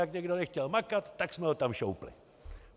Jak někdo nechtěl makat, tak jsme ho tam šoupli.